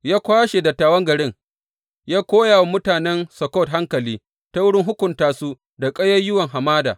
Ya kwashe dattawan garin ya koya wa mutanen Sukkot hankali ta wurin hukunta su da ƙayayyuwan hamada.